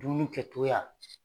Dumuni kɛcogoya.